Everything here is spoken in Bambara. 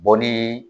Bɔli